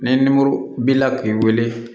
Ni nimoro b'i la k'i wele